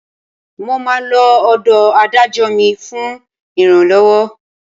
Mo máa lọ ọ̀dọ̀ Adájọ́ mi fún ìrànlọ́wọ́